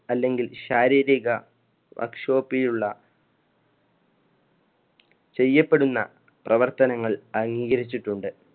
അല്ലെങ്കിൽ ശാരീരിക ചെയ്യപ്പെടുന്ന പ്രവർത്തനങ്ങൾ അംഗീകരിച്ചിട്ടുണ്ട്.